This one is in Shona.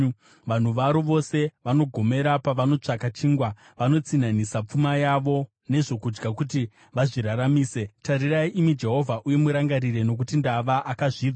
Vanhu varo vose vanogomera pavanotsvaka chingwa; vanotsinhanisa pfuma yavo nezvokudya kuti vazviraramise. “Tarirai, imi Jehovha, uye murangarire, nokuti ndava munhu akazvidzwa.”